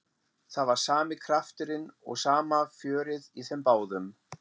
Það var sami krafturinn og sama fjörið í þeim báðum.